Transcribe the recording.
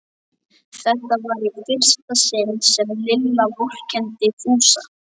Þetta var í fyrsta sinn sem Lilla vorkenndi Fúsa.